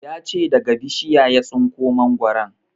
Ya ce daga bishiya ya tsinko mangoron